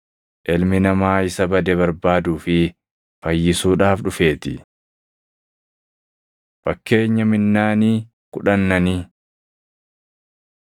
Ilmi Namaa isa bade barbaaduu fi fayyisuudhaaf dhufeetii.” Fakkeenya Minnaanii Kudhannanii 19:12‑27 kwi – Mat 25:14‑30